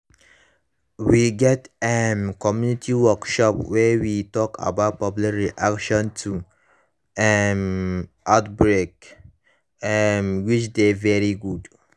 we get um community workshop wey we talk about public reaction to um outbreak um which dey very good